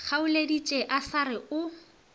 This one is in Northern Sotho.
kgaoleditše a sa re o